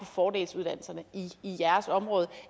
fordelsuddannelserne i jeres område